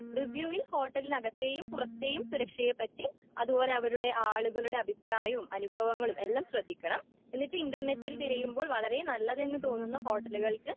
റിവ്യൂവിൽ ഹോട്ടലിന്റെ അകത്തേയും പുറത്തെയും സുരക്ഷയെ പറ്റി അത്പോലെ അവരുടെ ആളുകളുടെ അഭിപ്രായും അനുഭവങ്ങളും എല്ലാം ശ്രദ്ധിക്കണം.എന്നിട്ട് ഇന്റർനെറ്റിൽ തിരയുമ്പോൾ വളരെ നല്ലതെന്ന് തോന്നുന്ന ഹോട്ടലുകൾക്ക്